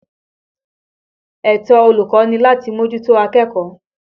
Ẹ̀tọ́ olùkọ́ ni láti mójútó akẹ́kọ̀ọ́.